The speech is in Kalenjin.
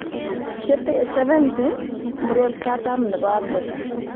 Che tee 70,murot katam nebo Afrika